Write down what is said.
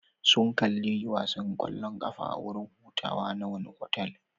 Sun kalli wasan kwallon kafa a wurin hutawa na wani otal.